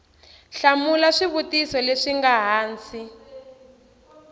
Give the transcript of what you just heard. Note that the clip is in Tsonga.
hlamula swivutiso leswi nga hansi